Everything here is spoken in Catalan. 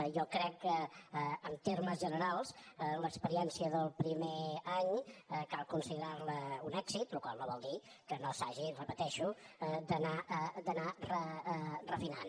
jo crec que en termes generals l’experiència del primer any cal considerar la un èxit la qual cosa no vol dir que no s’hagi ho repeteixo d’anar refinant